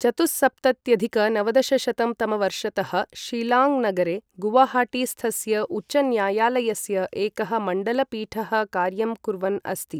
चतुःसप्तत्यधिक नवदशशतं तमवर्षतः शिलाङ्ग नगरे गुवाहाटीस्थस्य उच्चन्यायालयस्य एकः मण्डल पीठः कार्यं कुर्वन् अस्ति।